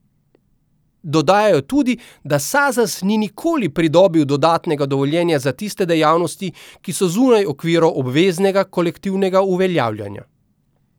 Dodajajo tudi, da Sazas ni nikoli pridobil dodatnega dovoljenja za tiste dejavnosti, ki so zunaj okvirov obveznega kolektivnega uveljavljanja.